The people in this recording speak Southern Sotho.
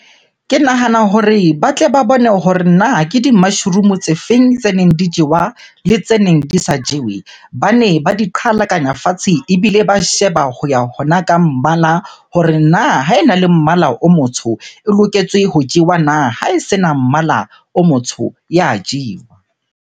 Ke nahana hore ba tle ba bone hore na ke di-mushroom-o tse feng tse neng di jowa le tse neng di sa jewe? Bane ba di qhalakanya fatshe, ebile ba sheba ho ya hona ka mmala hore na ha ena le mmala o motsho e loketswe ho jewa na? Ha e se na mmala o motsho ya jewa.